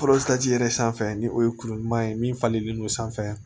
yɛrɛ sanfɛ ni o ye kuru ɲuman ye min falenlen don sanfɛ